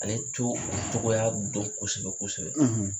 Ale to o togoya dɔn kosɛbɛ kosɛbɛ